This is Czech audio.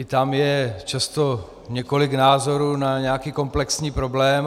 I tam je často několik názorů na nějaký komplexní problém.